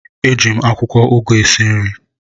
Eji m akwụkwọ ụgụ esi nri a